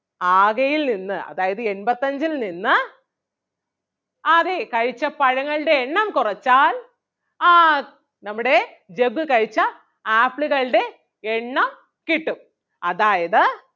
ആകെയിൽ നിന്ന് അതായത് എൺപത്തഞ്ചിൽ നിന്ന് അതെ കഴിച്ച പഴങ്ങളുടെ എണ്ണം കൊറച്ചാൽ ആഹ് നമ്മുടെ ജഗ്ഗു കഴിച്ച ആപ്പിളുകളുടെ എണ്ണം കിട്ടും അതായത്